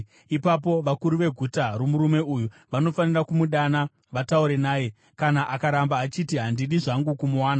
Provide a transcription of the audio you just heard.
Ipapo vakuru veguta romurume uyu vanofanira kumudana vataure naye. Kana akaramba achiti, “Handidi zvangu kumuwana,”